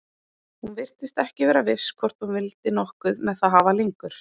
Hún virtist ekki vera viss hvort hún vildi nokkuð með það hafa lengur.